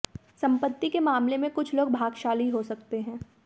संपत्ति के मामले में कुछ लोग भाग्यशाली हो सकते हैं